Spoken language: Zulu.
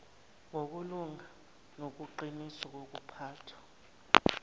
ngokulunga nobuqiniso bokuphathwa